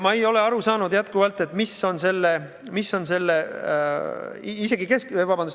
Ma ei ole endiselt aru saanud, mis on selle retoorika mõte.